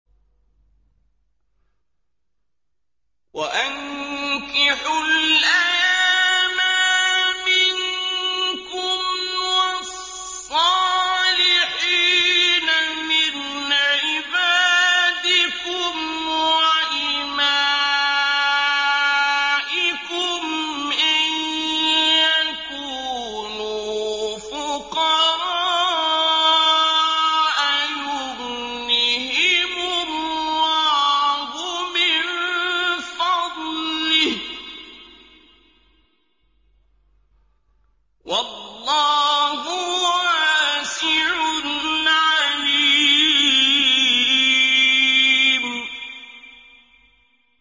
وَأَنكِحُوا الْأَيَامَىٰ مِنكُمْ وَالصَّالِحِينَ مِنْ عِبَادِكُمْ وَإِمَائِكُمْ ۚ إِن يَكُونُوا فُقَرَاءَ يُغْنِهِمُ اللَّهُ مِن فَضْلِهِ ۗ وَاللَّهُ وَاسِعٌ عَلِيمٌ